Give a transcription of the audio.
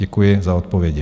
Děkuji za odpovědi.